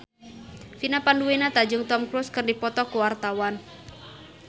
Vina Panduwinata jeung Tom Cruise keur dipoto ku wartawan